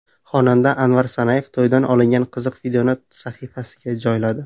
Xonanda Anvar Sanayev to‘ydan olingan qiziq videoni sahifasiga joyladi.